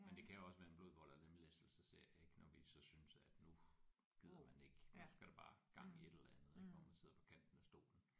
Men det kan også være blod vold og lemlæstelses serie ik når vi så synes at nu gider man ikke nu skal der bare gang i et eller andet ik hvor man sidder på kanten af stolen